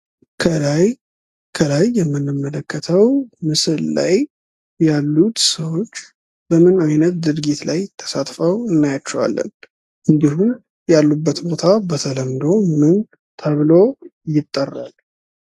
ከላይ የምንመለከተው ምስል ላይ ያሉት ሰዎች በምን አይነት ድርጊት ላይ ተሳትፈው እናያቸዋለን? እንድሁም ያሉበት ቦታ በተለምዶ ምን ተብሎ ይጠራል?